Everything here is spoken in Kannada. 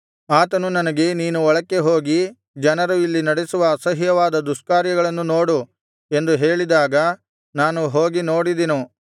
ಆತನು ನನಗೆ ನೀನು ಒಳಕ್ಕೆ ಹೋಗಿ ಜನರು ಇಲ್ಲಿ ನಡೆಸುವ ಅಸಹ್ಯವಾದ ದುಷ್ಕಾರ್ಯಗಳನ್ನು ನೋಡು ಎಂದು ಹೇಳಿದಾಗ ನಾನು ಹೋಗಿ ನೋಡಿದೆನು